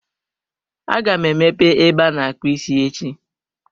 Aga m emepe ebe ana-akpụ isi echi.